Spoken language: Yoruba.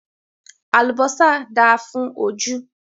Àlùbọ́sà dáa fún ojú.